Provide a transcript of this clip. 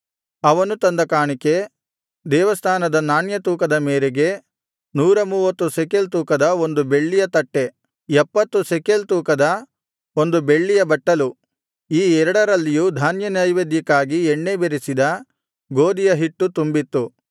ಅವನು ತಂದ ಕಾಣಿಕೆ ದೇವಸ್ಥಾನದ ನಾಣ್ಯ ತೂಕದ ಮೇರೆಗೆ ನೂರ ಮೂವತ್ತು ಶೆಕೆಲ್ ತೂಕದ ಬೆಳ್ಳಿಯ ಒಂದು ತಟ್ಟೆ ಎಪ್ಪತ್ತು ಶೆಕೆಲ್ ತೂಕದ ಒಂದು ಬೆಳ್ಳಿಯ ಬಟ್ಟಲು ಈ ಎರಡರಲ್ಲಿಯೂ ಧಾನ್ಯನೈವೇದ್ಯಕ್ಕಾಗಿ ಎಣ್ಣೆ ಬೆರಸಿದ ಗೋದಿಯ ಹಿಟ್ಟು ತುಂಬಿತ್ತು